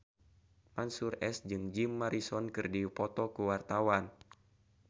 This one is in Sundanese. Mansyur S jeung Jim Morrison keur dipoto ku wartawan